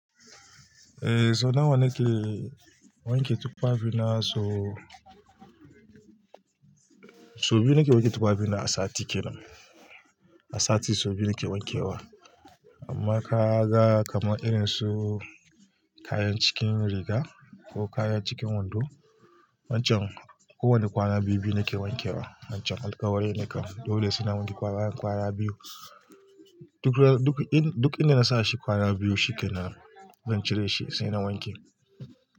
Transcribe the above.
Eh, so nawa ne ke wanke tuffafi na so, so biyu ne ke wanke tuffafi na a sati kenan. A sati so biyu ne ke wanke wa. Amma ka ga kamar irin su kayan cikin riga ko kayan cikin wando, wancan kowane kwana biyu-biyu ne ke wanke wa. Wancan alkawari ne kan dole sai na wanke kwana-kwana biyu. Duk inda na sa shi kwana biyu shikenan, zan cire shi sai na wanke.